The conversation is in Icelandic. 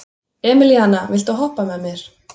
Emelíana, viltu hoppa með mér?